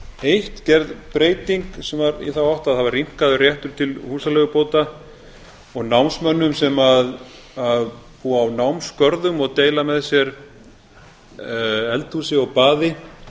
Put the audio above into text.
eitt gerð breyting sem var í þá átt að það var rýmkaður réttur til húsaleigubóta og námsmönnum sem búa á námsgörðum og deila með sér eldhúsi og baði